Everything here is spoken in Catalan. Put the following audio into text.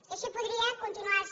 i així podria continuar los